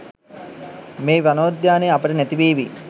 මේ වනෝද්‍යානය අපට නැතිවේවි.